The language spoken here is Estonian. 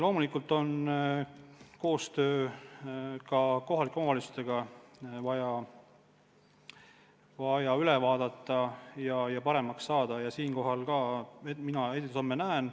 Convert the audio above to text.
Loomulikult on koostöö kohalike omavalitsustega vaja samuti üle vaadata ja paremaks saada, ent ka selles ma näen edusamme.